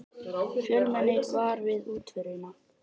Fjölmenni var við útförina